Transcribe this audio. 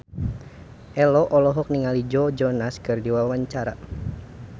Ello olohok ningali Joe Jonas keur diwawancara